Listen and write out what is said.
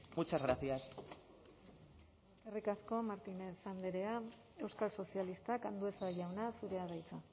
muchas gracias eskerrik asko martínez andrea euskal sozialistak andueza jauna zurea da hitza